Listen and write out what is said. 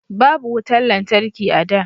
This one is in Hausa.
Babu wutan lantarki a da